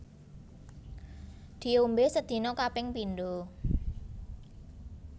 Diombé sedina kaping pindho